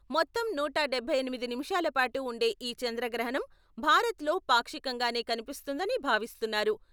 మొత్తం నూట డబ్బై ఎనిమిది నిముషాల పాటు ఉండే ఈ చంద్రగ్రహణం భారత్లో పాక్షికంగానే కనిపిస్తుందని భావిస్తున్నారు.